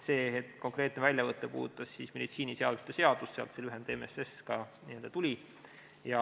See konkreetne väljavõte puudutas meditsiiniseadme seadust, sealt see lühend MSS ka tuli.